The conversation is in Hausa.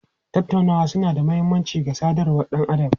Tattaunawa suna da mahimmanci ga sadarwar ɗan adam.